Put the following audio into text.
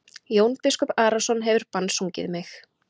Jón biskup Arason hefur bannsungið mig.